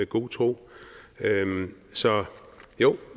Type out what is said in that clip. god tro så jo